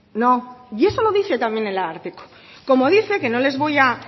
no y eso lo dice también en ararteko como dice que no les voy a